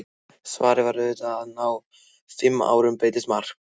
Svarið var auðvitað að á fimm árum breytist margt.